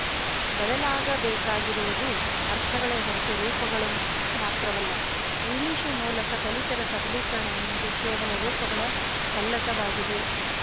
ಬದಲಾಗಬೇಕಿರುವುದು ಅರ್ಥಗಳೇ ಹೊರತು ರೂಪಗಳು ಮಾತ್ರವಲ್ಲ ಇಂಗ್ಲಿಶು ಮೂಲಕ ದಲಿತರ ಸಬಲೀಕರಣ ಎನ್ನುವುದು ಕೇವಲ ರೂಪಗಳ ಪಲ್ಲಟವಾಗಿದೆ